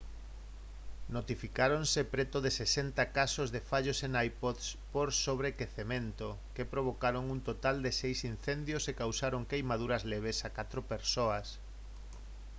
notificáronse preto de 60 casos de fallos en ipods por sobrequecemento que provocaron un total de seis incendios e causaron queimaduras leves a catro persoas